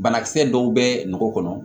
Banakisɛ dɔw bɛ ngɔ kɔnɔ